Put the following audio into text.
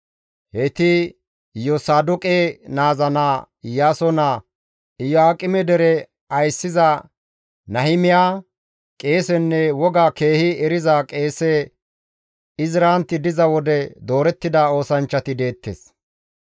Heyti Iyosaadoqe naaza naa Iyaaso naa Iyo7aaqeme dere ayssiza Nahimiya, qeesenne woga keehi eriza qeese Izranti diza wode doorettida oosanchchati deettes.